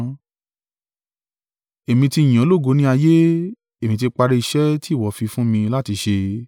Èmi ti yìn ọ́ lógo ní ayé: èmi ti parí iṣẹ́ tí ìwọ fi fún mi láti ṣe.